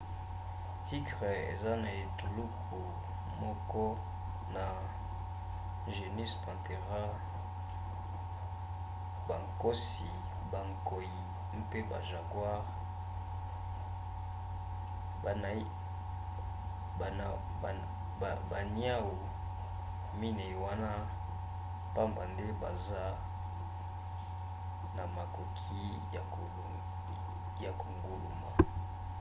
tigre eza na etuluku moko na genus panthera bankosi bankoi mpe bajaguars. baniau minei wana pamba nde baza na makoki ya konguluma